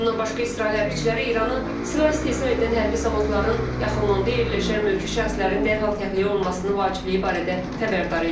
Bundan başqa İsrail hərbçiləri İranı silah istehsal edən hərbi zavodların yaxınlığında yerləşən mülki şəxslərin dərhal təxliyə olunmasını vacibliyi barədə xəbərdar edib.